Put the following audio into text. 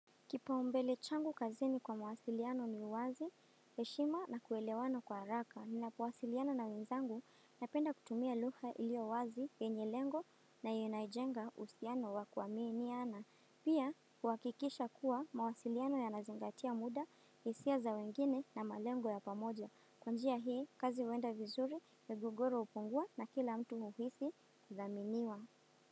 Kipaumbele changu kazini kwa mawasiliano ni uwazi, heshima na kuelewana kwa haraka. Ninapowasiliano na wenzangu, napenda kutumia lugha ilio wazi, yenye lengo na yenye inajenga uhusiano wa kuaminiana. Pia, kuhakikisha kuwa mawasiliano yanazingatia muda, hisia za wengine na malengo ya pamoja. Kwa njia hii, kazi huenda vizuri ya migogoro hupungua na kila mtu uhisi kuthaminiwa.